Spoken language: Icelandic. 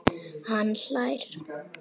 Hann hlær.